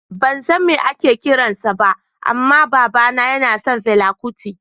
Ban san me ake kiran sa ba amma babana yana son fela kuti